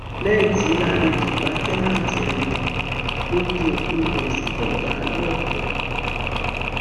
lẹyìn tí làǹlẹdí pa táǹtẹǹtì rẹ tán ló ju òkú rẹ sí kànga lọkẹ